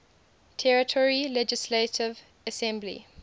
territory legislative assembly